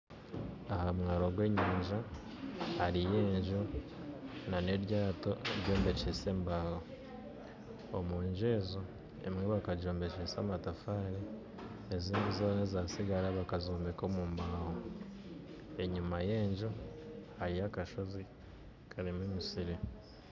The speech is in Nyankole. Aha mwaaro gw'enyanja hariyo enju n'eryato eryombekyise embaho omunju ezo emwe bakagyombekyesa amatafaari ezatsigara bakazombekyesa embaho enyima y'enju hariyo akashoozi karimu emiisiri